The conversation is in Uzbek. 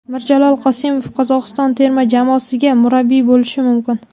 Mirjalol Qosimov Qozog‘iston terma jamoasiga murabbiy bo‘lishi mumkin.